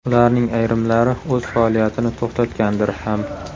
Ularning ayrimlari o‘z faoliyatini to‘xtatgandir ham.